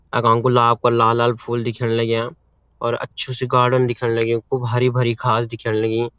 यक हमकू लाब क लाल-लाल फूल दिखेंण लग्याँ और अच्छु सी गार्डन दिखेंण लग्युं खूब हरी-भरी घास दिखेंण लगीं।